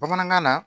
Bamanankan na